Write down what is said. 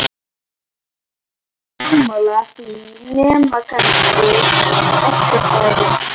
eru ekki allir sammála því nema kannski vesturbærinn?